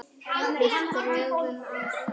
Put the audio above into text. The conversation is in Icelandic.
Við drögum á þá.